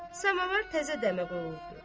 Samovar təzə dəmə qoyulubdur.